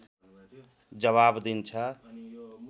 जबाफ दिन्छ